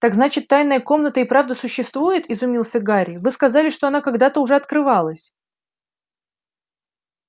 так значит тайная комната и правда существует изумился гарри вы сказали что она когда-то уже открывалась